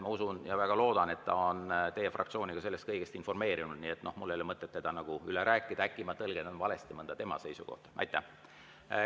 Ma usun ja väga loodan, et ta on teie fraktsiooni sellest kõigest informeerinud, nii et mul ei ole mõtet seda üle rääkida, sest äkki ma tõlgendan mõnda tema seisukohta valesti.